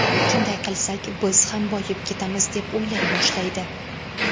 Shunday qilsak biz ham boyib ketamiz deb o‘ylay boshlaydi.